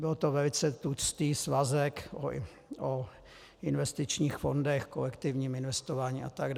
Byl to velice tlustý svazek o investičních fondech, kolektivním investování atd.